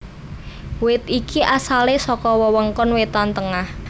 Wit iki asalé saka wewengkon wétan tengah